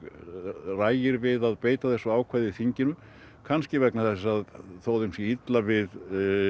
ragir við að beita þessu ákvæði í þinginu kannski vegna þess að þó þeim sé illa við